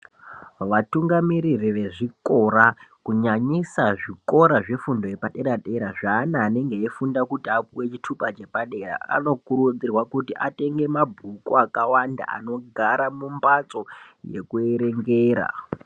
Vatungamiriri vezvikora kunyanyisa zvikora zvefundo yepadera-dera zveana anenge eyifunda kuti apuwe chitupa chepadera anokurudzirwa kuti atenge mabhuku akawanda anogara mumbatso yekuerengera.